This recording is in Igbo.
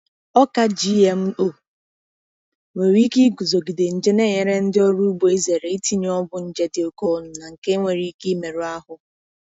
Ọka GMO nwere ike iguzogide nje na-enyere ndị ọrụ ugbo izere itinye ọgwụ nje dị oke ọnụ na nke nwere ike imerụ ahụ